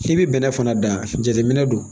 K'i bɛ bɛnɛ fana da jateminɛ don